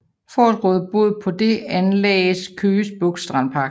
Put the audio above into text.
For at råde bod på det anlagdes Køge Bugt Strandpark